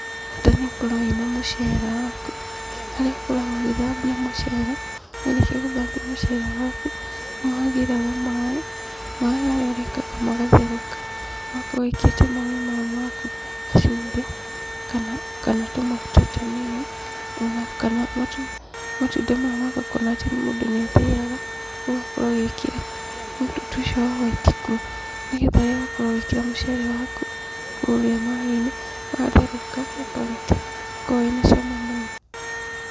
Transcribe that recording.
Bata nĩũkorwo wĩna mũcere waku, harĩa ũkoragwo ũgĩthambia mũcere, warĩkia gũthambia mũcere waku, nĩũhagĩraga maaĩ, maaĩ harĩa ũrekaga magatherũka. Ũgakorwo wĩkĩrĩte maaĩ mau maku gacumbĩ, kana tũmaguta tũnini, onakana matunda maya ma kokonati mũndũ nĩathĩaga, ũgakorwo ũgĩkĩra mũtutu ũcio wa hwaiti kuo nĩgetha rĩrĩa wakorwo ũgĩkĩra mũcere waku kũrĩa maaĩ-inĩ, watherũka ũkaruta, nĩũkoragwo wĩ na cama mũno.